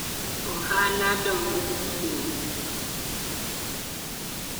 Ohala dongo gi gowi.